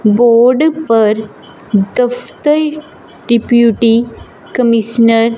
board पर दफ्तर deputy commissioner --